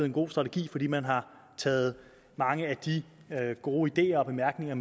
en god strategi fordi man har taget mange af de gode ideer og bemærkninger